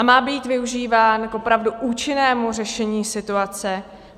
A má být využíván k opravdu účinnému řešení situace.